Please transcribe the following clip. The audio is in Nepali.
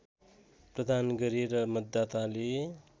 प्रदान गरे र मतदाताले